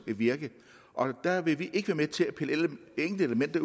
virke og der vil vi ikke være med til at pille enkelte